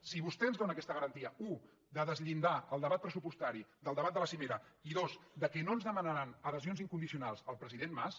si vostè ens dóna aquesta garantia u de deslligar el debat pressupostari del debat de la cimera i dos que no ens demanaran adhesions incondicionals al president mas